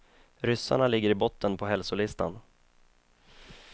Ryssarna ligger i botten på hälsolistan.